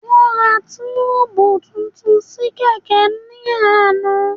Wọ́n ra tíìbù tuntun sí kẹ̀kẹ́ ni lánàá